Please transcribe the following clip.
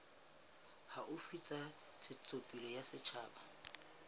haufi tsa ntshetsopele ya setjhaba